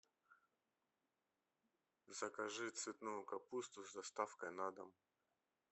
закажи цветную капусту с доставкой на дом